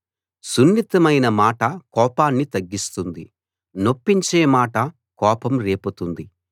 సున్నితమైన మాట కోపాన్ని తగ్గిస్తుంది నొప్పించే మాట కోపం రేపుతుంది